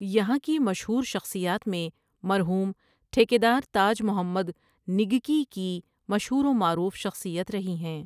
یہاں کی مشہور شخصیات میں مرحوم ٹھیکیدار تاج محمد نگکی کی مشہور و معروف شخصیت رھی ھیں ۔